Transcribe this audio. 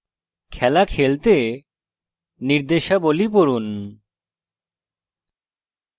খেলা খেলতে নির্দেশাবলী পড়ুন